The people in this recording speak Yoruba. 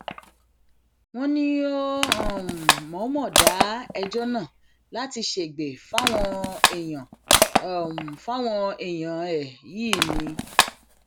wọn ní ó um mọọnmọ dá ẹjọ náà láti ṣègbè fáwọn èèyàn fáwọn èèyàn ẹ yìí um ni